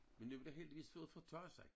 Men nu har det heldigvis fået fortaget sig